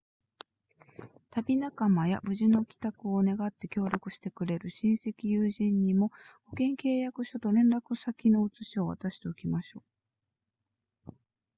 旅仲間や無事の帰宅を願って協力してくれる親戚友人にも保険契約書と連絡先の写しを渡しておきましょう